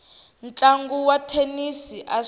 ntlangu wa thenisi a swa